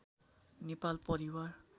नेपाल परिवार